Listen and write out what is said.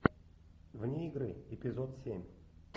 вне игры эпизод семь